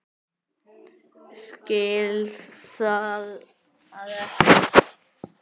Skil það ekki.